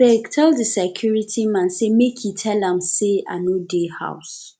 abeg tell di security man sey make e tell am sey i no dey house